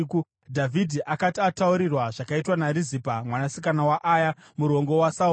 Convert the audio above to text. Dhavhidhi akati ataurirwa zvakaitwa naRizipa, mwanasikana waAya, murongo waSauro,